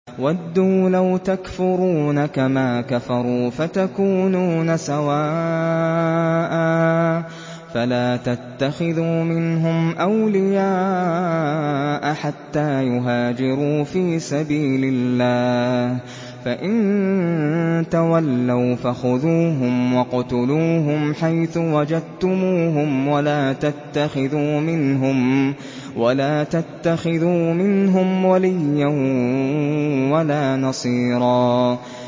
وَدُّوا لَوْ تَكْفُرُونَ كَمَا كَفَرُوا فَتَكُونُونَ سَوَاءً ۖ فَلَا تَتَّخِذُوا مِنْهُمْ أَوْلِيَاءَ حَتَّىٰ يُهَاجِرُوا فِي سَبِيلِ اللَّهِ ۚ فَإِن تَوَلَّوْا فَخُذُوهُمْ وَاقْتُلُوهُمْ حَيْثُ وَجَدتُّمُوهُمْ ۖ وَلَا تَتَّخِذُوا مِنْهُمْ وَلِيًّا وَلَا نَصِيرًا